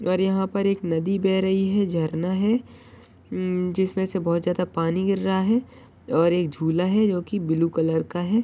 पर यहा पर नदी बेह रही है झरना है जिसमे से बहुत ज्यादा पानी गिर रहा है और एक झूला है जो की ब्लु कलर का है।